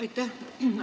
Aitäh!